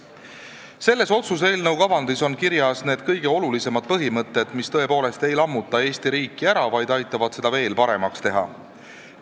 Selles otsuse eelnõu kavandis on kirjas need kõige olulisemad põhimõtted, millest lähtudes me tõepoolest ei lammuta Eesti riiki ära, vaid aitame seda veel paremaks teha.